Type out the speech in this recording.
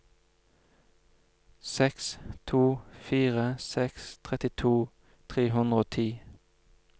seks to fire seks trettito tre hundre og ti